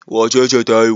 Wace ce ta haihu?